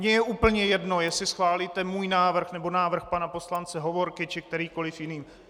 Mně je úplně jedno, jestli schválíte můj návrh nebo návrh pana poslance Hovorky či kterýkoli jiný.